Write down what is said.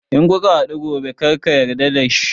In kuka haɗu gobe karka yarda da shi!